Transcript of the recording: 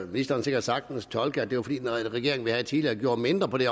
ministeren sikkert sagtens tolke at det var fordi den regering vi havde tidligere gjorde mindre på det